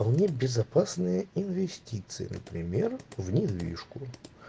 а у меня безопасные инвестиции например в недвижку